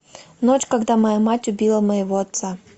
ночь когда моя мать убила моего отца